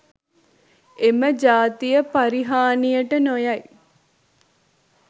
එම ජාතිය පරිහානියට නොයයි